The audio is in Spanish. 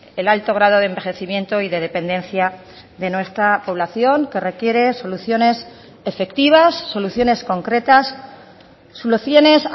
el alto grado de envejecimiento y de dependencia de nuestra población que requiere soluciones efectivas soluciones concretas soluciones